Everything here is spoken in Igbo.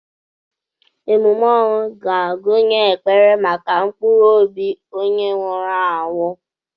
Emume ọnwụ ga-agụnye ekpere maka mkpụrụ obi onye nwụrụ anwụ.